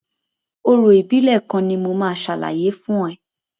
Orò ìbílẹ̀ kan ni mo máa ṣàlàyé fún ẹ.